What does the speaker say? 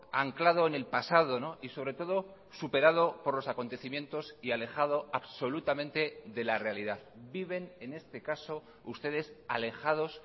anclado en el pasado y sobre todo superado por los acontecimientos y alejado absolutamente de la realidad viven en este caso ustedes alejados